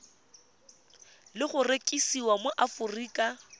le go rekisiwa mo aforika